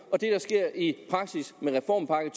og det der sker i praksis med reformpakken